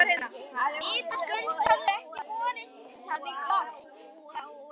Svanfríður, hvað er í matinn?